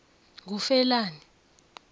ngufelani